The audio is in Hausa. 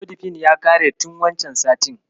Amlodifin ya ƙare tin wancen satin.